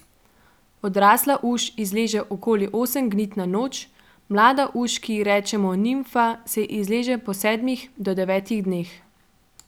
Odrasla uš izleže okoli osem gnid na noč, mlada uš, ki ji rečemo nimfa se izleže po sedmih do devetih dneh.